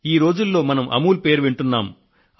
ఈ రోజుల్లో మనం అమూల్ పేరు వింటున్నాం